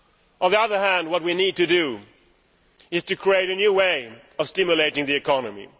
On the other hand what we need to do is to create a new way of stimulating the economy.